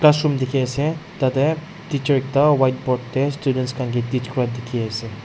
classroom dekhi ase tatey teacher ekta whiteboard tae students khan kae teach kura dekhi asa.